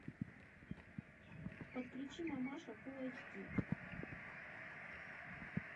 подключи мамаша фулл айч ди